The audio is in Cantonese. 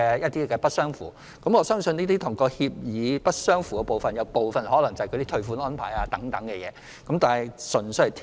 就不符合書面服務協議的個案中，我相信部分可能涉及退款安排等問題。